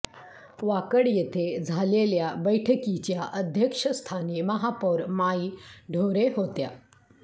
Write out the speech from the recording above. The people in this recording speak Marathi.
वाकड येथे झालेल्या बैठकीच्या अध्यक्षस्थानी महापौर माई ढोरे होत्या